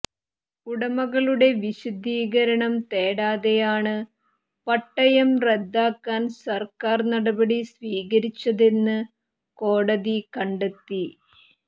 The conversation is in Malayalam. ഉടമകളുടെ വിശദീകരണം തേടാതെയാണ് പട്ടയം റദ്ദാക്കാൻ സർക്കാർ നടപടി സ്വീകരിച്ചതെന്ന് കോടതി കണ്ടെത്തി